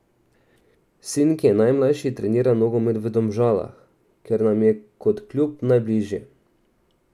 Sin, ki je najmlajši, trenira nogomet v Domžalah, ker nam je kot klub najbližje.